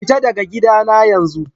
Fita daga gidana yanzu!